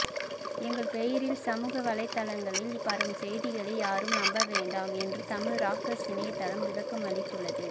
எங்கள் பெயரில் சமூக வலைத்தளங்களில் பரவும் செய்திகளை யாரும் நம்ப வேண்டாம் என்று தமிழ் ராக்கர்ஸ் இணையதளம் விளக்கம் அளித்துள்ளது